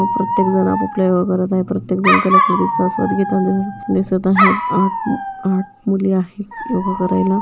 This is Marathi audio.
प्रत्येक जण आपपल्या योगा करत आहेत प्रत्येक जण कला कृतीच आस्वाद घेतान दिसत आहेत आत आठ मुली आहे योगा करायला.